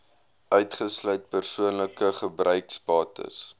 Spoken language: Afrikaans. uitgesluit persoonlike gebruiksbates